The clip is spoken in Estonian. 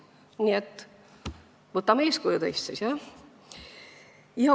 Nii et võtame siis teist eeskuju.